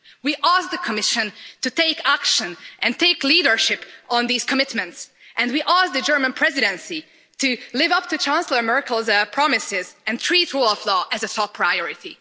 We ask the Commission to take action and take leadership on these commitments, and we ask the German Presidency to live up to Chancellor Merkel's promises and treat rule of law as a top priority.